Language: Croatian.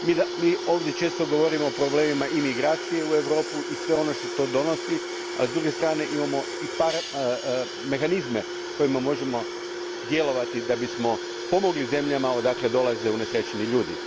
Mi ovdje često govorimo o problemima imigracije u Europu i svemu što ona donosi, a s druge strane imamo i mehanizme kojima možemo djelovati da bismo pomogli zemljama iz kojih dolaze unesrećeni ljudi.